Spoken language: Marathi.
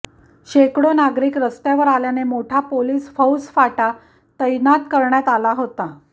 शेकडो नागरिक रस्त्यावर आल्याने मोठा पोलीस फौजफाटा तैनात करण्यात आला होता